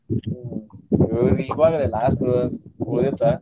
ಹ್ಮ್ ಇವಾಗ last ಉಳಿದಿತ್ತ.